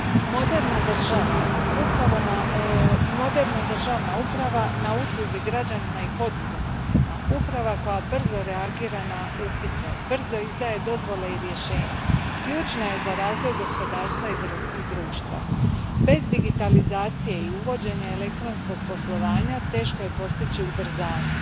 Moderna državna uprava na usluzi građanima i poduzetnicima, uprava koja brzo reagira na upite, brzo izdaje dozvole i rješenja, ključna je za razvoj gospodarstva i društva. Bez digitalizacije i uvođenja elektronskog poslovanja teško je postići ubrzanje.